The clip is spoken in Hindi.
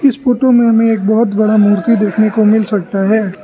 इस फोटो हमे एक बहोत बड़ा मूर्ति देखने को मिल सकता है।